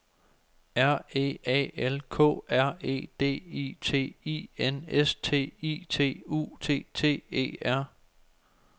R E A L K R E D I T I N S T I T U T T E R